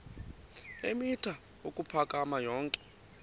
eemitha ukuphakama yonke